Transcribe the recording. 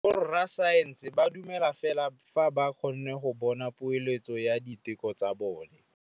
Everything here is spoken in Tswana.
Borra saense ba dumela fela fa ba kgonne go bona poeletsô ya diteko tsa bone.